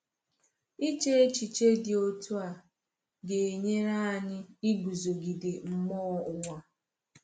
Iche echiche dị otu a ga-enyere anyị iguzogide mmụọ ụwa.